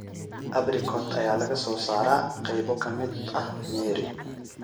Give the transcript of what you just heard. Abrikot ayaa laga soo saaraa qaybo ka mid ah Nyeri.